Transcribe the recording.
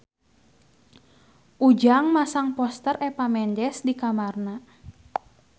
Ujang masang poster Eva Mendes di kamarna